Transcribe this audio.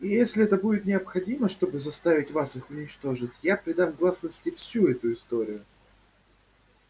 и если это будет необходимо чтобы заставить вас их уничтожить я предам гласности всю эту историю